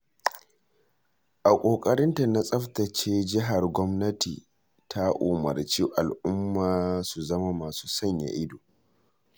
A ƙoƙarinta na tsaftace jihar gwamnati ta umarci al'umma su zama masu sanya ido.